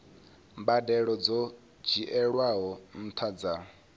mbadelo dzo dzhielwaho nṱha dza